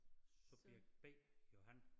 Subjekt B Johan